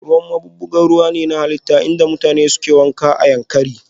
Ruwan maɓuɓɓugar ruwa ne na halitta inda mutane suke wanka a Yankari